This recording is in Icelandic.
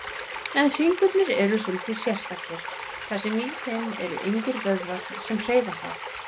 En fingurnir eru svolítið sérstakir, þar sem í þeim eru engir vöðvar sem hreyfa þá.